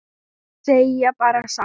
Eða segja bara satt?